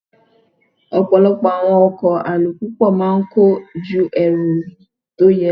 Ọ̀pọ̀lọpọ̀ àwọn ọkọ̀ alùpùpù máa ń kọ́ ju èrò tó yẹ lọ.